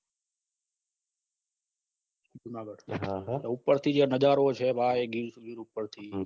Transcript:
જુનાગડ ઉપર થીન જે નજારોછે ભાઈ ગીર ગીર ઉપરથી